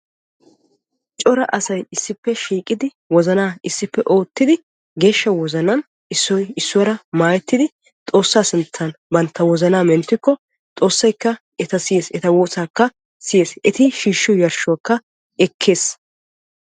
Coraa asay issippe shiiqidi wozana issippe oottidi geeshsha wozanan issoy issuwaara maayyettidi Xoossa sinttan bantta wozanaa menttikko Xoossaykka etaa siyyees. Etaa woossakka siyees, eti shiishshiyo yarshshuwaakka ekkees.